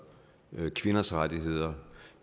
kvinders rettigheder